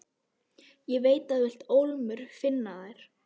Ég veit þú vilt ólmur finna þær.